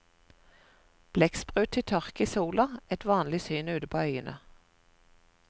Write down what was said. Blekksprut til tørk i solen, et vanlig syn ute på øyene.